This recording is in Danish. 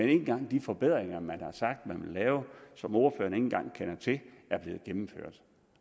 engang de forbedringer som man har sagt man vil lave og som ordføreren ikke engang kender til er blevet gennemført